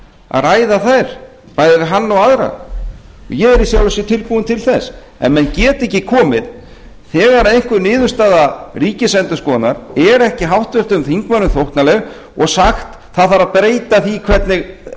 að ræða þær bæði við hann og aðra ég er í sjálfu sér tilbúinn til þess en menn geta ekki komið þegar einhver niðurstaða ríkisendurskoðunar er ekki háttvirtum þingmönnum þóknanleg og sagt það þarf að breyta því hvernig